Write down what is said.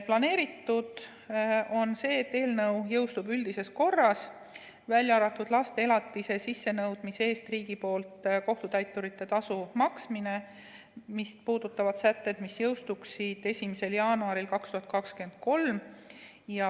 Planeeritud on, et eelnõu jõustub üldises korras, välja arvatud laste elatise sissenõudmise eest riigi poolt kohtutäiturite tasu maksmist puudutavad sätted, mis jõustuksid 1. jaanuaril 2023.